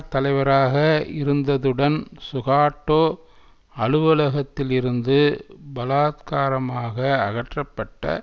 தலைவராக இருந்ததுடன் சுகாட்டோ அலுவலகத்திலிருந்து பலாத்காரமாக அகற்றப்பட்ட